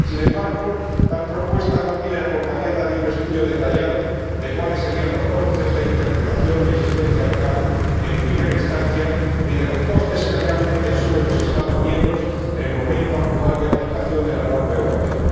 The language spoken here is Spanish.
Sin embargo, tal propuesta no viene acompañada de un estudio detallado de cuáles serían los costes de interpretación y asistencia legal en primera instancia, ni de los costes que realmente asumen los Estados miembros en el momento actual de aplicación de la norma europea.